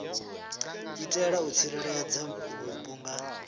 itela u tsireledza vhupo nga